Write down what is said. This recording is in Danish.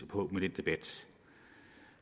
på den debat